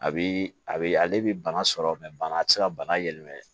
A bi a be ale bi bana sɔrɔ bana ti se ka bana yɛlɛma